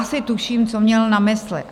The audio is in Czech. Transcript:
Asi tuším, co měl na mysli.